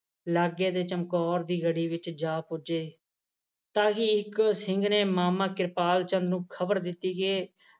ਲਾਗੇ ਦੇ ਚਮਕੌਰ ਦੀ ਗੜ੍ਹੀ ਵਿੱਚ ਜਾ ਪੁੱਜੇ ਤਾਹਿ ਹੀ ਇੱਕ ਸਿੰਘ ਨੇ ਮਾਮਾ ਕਿਰਪਾਲ ਚੰਦ ਨੂੰ ਖਬਰ ਦਿੱਤੀ ਕਿ